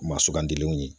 U ma sugandilenw ye